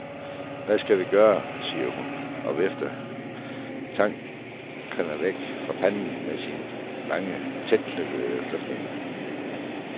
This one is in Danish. Hvad skal vi gøre, siger hun og vifter tankerne væk fra panden med sine lange, tætknyttede fletninger.